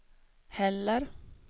heller